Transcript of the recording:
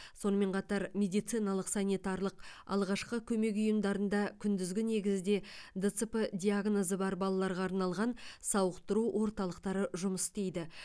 сонымен қатар медициналық санитарлық алғашқы көмек ұйымдарында күндізгі негізде дцп диагнозы бар балаларға арналған сауықтыру орталықтары жұмыс істейді